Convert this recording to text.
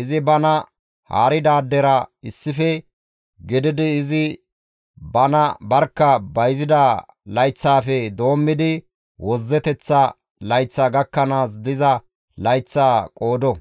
Izi bana haaridaadera issife gididi izi bana barkka bayzida layththaafe doommidi wozzeteththa layththaa gakkanaas diza layththaa qoodo;